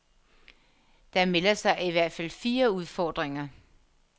Der melder sig i hvert fald fire udfordringer.